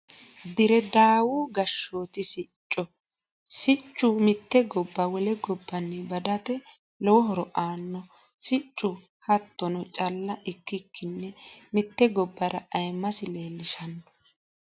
Dire dawu gashooti sicco, sichu mite goba wole gabanni badate lowo horo aanno siccu hattrnno calla ikkikini mite gobbara ayiimase leellishano